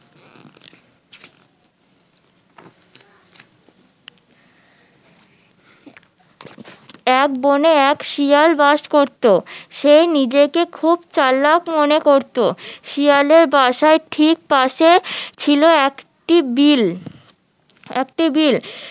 এক বনে এক শিয়াল বাস করতো সে নিজেকে খুব চালাক মনে করতো শিয়ালের বাসার টিক পাশে ছিল একটি বিল একটি বিল